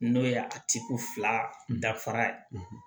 N'o ye a tigi fila dafara ye